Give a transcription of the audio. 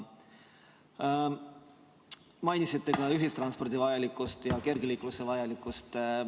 Mainisite ka ühistranspordi vajalikkust ja kergeliikluse vajalikkust.